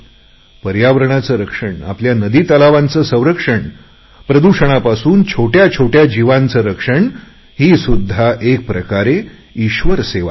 पर्यारणाचे रक्षण आपल्या नदी तलावाचे संरक्षण प्रदूषणापासून छोटया छोटया जीवांचे रक्षण ही सुध्दा एक प्रकारे ईश्वर सेवाच आहे